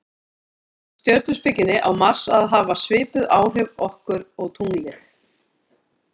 samkvæmt stjörnuspekinni á mars að hafa svipuð áhrif okkur og tunglið